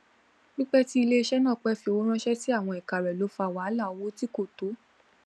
pípẹ tí iléiṣẹ náà pẹ fi owó ránṣẹ sí àwọn èka rẹ ló fà wàhálà owó tí kò tó